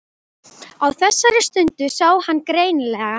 Á þessari stundu sá hann greinilega.